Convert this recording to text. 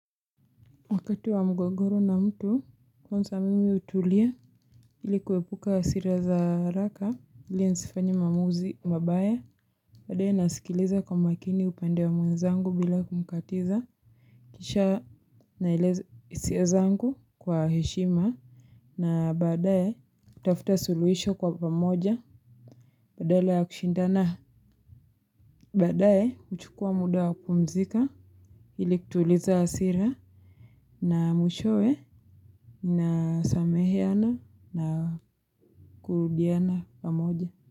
Wakati wa mgogoro na mtu kwanza mimi hutulia ili kuepuka hasira za haraka ili nisifanye maamuzi mabaya baadae nasikiliza kwa makini upande wa mwenzangu bila kumkatiza kisha naeleza hisia zangu kwa heshima na baadae kutafuta suluhisho kwa pamoja badala ya kushindana baadae huchukua muda wa kupumzika ili kutuliza hasira na mwishowe na sameheana na kurudiana pamoja.